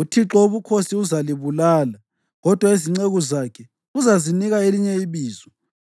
uThixo Wobukhosi uzalibulala, kodwa izinceku zakhe uzazinika elinye ibizo.